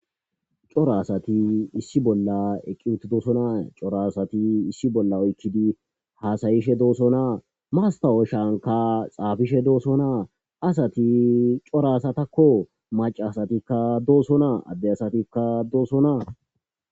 Cora asathi issi bolla eqqi7uththidosona;he cora asathi issi bolla oykkidi haasayishe doosona;masththaawoshankka xaafishe doosona;asathi cora asathakoo;maccaasathikka dosona;adde asathikka doosona.